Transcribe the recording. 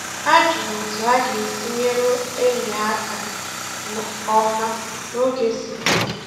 Ha jụrụ otu ha ga-esi nyere enyi ha aka nke ọma n’oge siri ike